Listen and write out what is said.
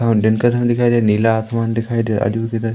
और दिन का समय दिखाई दे नीला आसमान दिखाई दे रहा